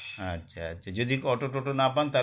আচ্ছা আচ্ছা যদি auto toto না পান তাহলে